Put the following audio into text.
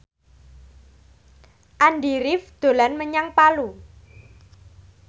Andy rif dolan menyang Palu